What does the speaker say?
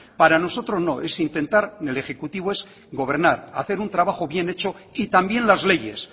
para nosotros no es intentar el ejecutivo es gobernar hacer un trabajo bien hecho y también las leyes